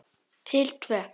Til tvö.